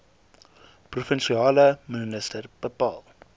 provinsiale minister bepaal